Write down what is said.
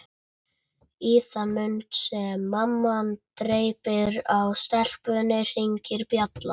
Í þann mund sem mamma dreypir á staupinu hringir dyrabjallan.